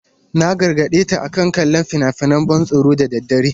Na gargade ta akan kallon fina-finan ban tsoro da daddare.